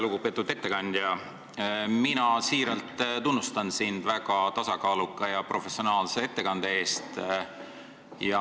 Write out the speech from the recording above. Väga lugupeetud ettekandja, ma siiralt tunnustan sind väga tasakaaluka ja professionaalse ettekande eest.